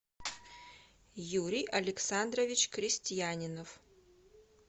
юрий александрович крестьянинов